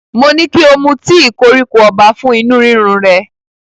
Mo ní kí o mu tíì koríko ọba fún inú rírun rẹ,